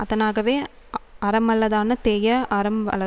அதனாகவே அறமல்லதான தேய அறம் வளர்